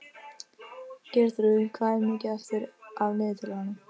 Geirþrúður, hvað er mikið eftir af niðurteljaranum?